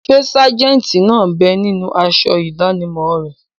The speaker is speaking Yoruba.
Ṣé sájẹ̀ntì náà bẹ ninú aṣọ ìdánimọ̀ rẹ̀?